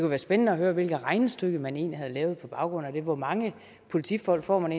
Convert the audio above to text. være spændende at høre hvilket regnestykke man egentlig har lavet på baggrund af det hvor mange politifolk får man